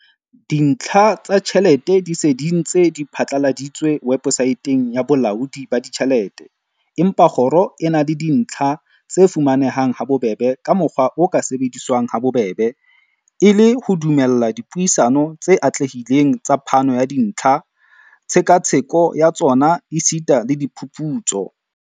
"Dintlha tsa tjhelete di se di ntse di phatlaladitswe webosaeteng ya Bolaodi ba Ditjhelete, empa kgoro e na le dintlha tse fuma nehang habobebe ka mokgwa o ka sebediswang habobebe, e le ho dumella dipuisano tse atlehileng tsa phano ya dintlha, tshekatsheko ya tsona esita le diphuputso."